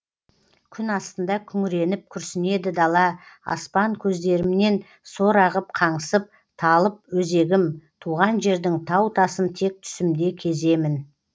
күн астында күңіреніп күрсінеді дала аспан көздерімнен сор ағып қаңсып талып өзегім туған жердің тау тасын тек түсімде кеземін